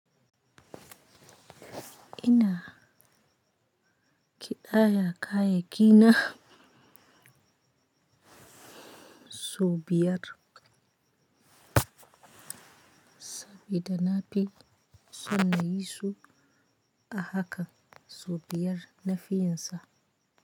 Ina ƙidaya kayaki na sau biyar sabiflda na fi so na yi su a haka sau biyar na fi yin sa.